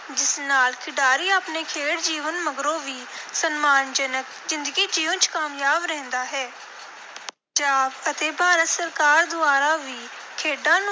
ਜਿਸ ਨਾਲ ਖਿਡਾਰੀ ਆਪਣੇ ਖੇਡ ਜੀਵਨ ਮਗਰੋਂ ਵੀ ਸਨਮਾਨਜਨਕ ਜ਼ਿੰਦਗੀ ਜਿਊਂਣ ਚ ਕਾਮਯਾਬ ਰਹਿੰਦਾ ਹੈ। ਪੰਜਾਬ ਅਤੇ ਭਾਰਤ ਸਰਕਾਰ ਦੁਆਰਾ ਵੀ ਖੇਡਾਂ ਨੂੰ